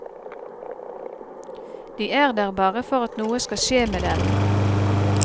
De er der bare for at noe skal skje med dem.